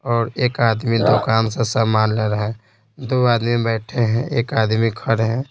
और एक आदमी दोकान से सामान ले रहा है दू आदमी बैठे हैं एक आदमी खड़े हैं।